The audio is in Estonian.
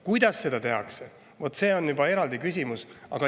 Kuidas seda tehakse, vot see on juba eraldi küsimus.